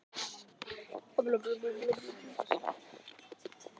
Óttast er að fólkið hafi drukknað